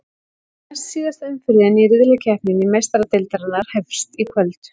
Næstsíðasta umferðin í riðlakeppni Meistaradeildarinnar hefst í kvöld.